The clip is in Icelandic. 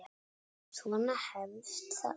Svona hefst það